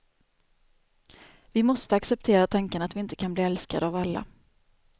Vi måste acceptera tanken att vi inte kan bli älskade av alla.